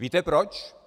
Víte proč?